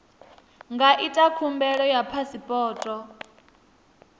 nga ita khumbelo ya phasipoto